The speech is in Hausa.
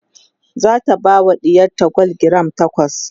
zata bawa ɗiyarta gwal giram takwas